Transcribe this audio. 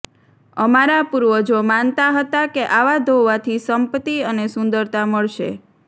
અમારા પૂર્વજો માનતા હતા કે આવા ધોવાથી સંપત્તિ અને સુંદરતા મળશે